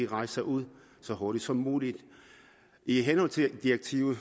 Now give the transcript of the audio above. rejser ud så hurtigt som muligt i henhold til direktivet